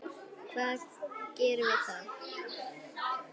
Hvað gerum við þá?